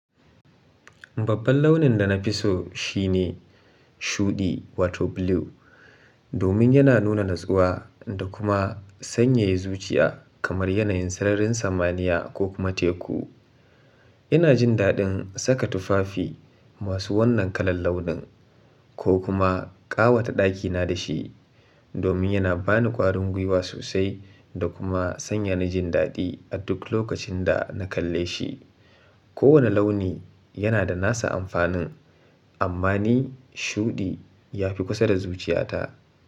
Babban launin da na fi so shine shuɗi wato blue, domin yana nuna natsuwa da kuma sanyaya zuciya kamar yanayin sararin samaniya ko kuma teku. Ina jin daɗin saka tufafi masu wannan kalar launin ko kuma ƙawata ɗakina da shi, domin yana bani ƙwarin guiwa sosai da kuma sanya na jin daɗi a duk lokacin da na kalle shi. Kowane launi yana da nasa amfanin, amma ni shuɗi ya fi kusa da zuciyata.